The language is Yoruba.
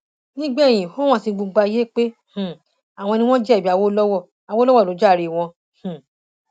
nígbẹyìn ó hàn sí gbogbo ayé pé um àwọn ni wọn jẹbi awolowo awolowo ló jàre wọn um